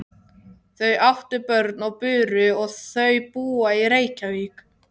Þau áttu börn og buru og þau búa í Reykjavík.